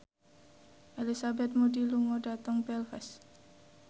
Elizabeth Moody lunga dhateng Belfast